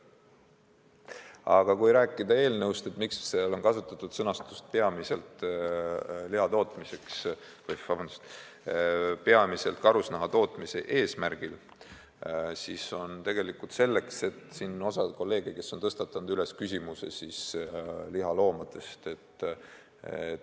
Aga kui rääkida eelnõust, miks seal on kasutatud sõnastust "peamiselt karusnaha tootmise eesmärgil", siis tegelikult seepärast, et osa kolleege on tõstatanud küsimuse lihaloomadest.